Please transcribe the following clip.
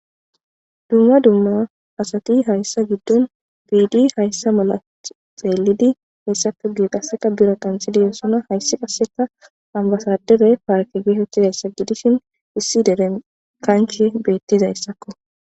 dumma dumma asati hayssa giddon biidi hayssa mala xeelidi heessapo ge qasseka bira qanxidiyo sona haysse qasseka hambasadere parke geehethizayssa gidishin issi dere kankie beettizayssakko